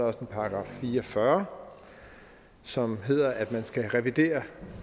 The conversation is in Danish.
også en § fire og fyrre som hedder at man skal revidere